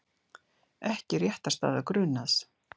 Ekki réttarstaða grunaðs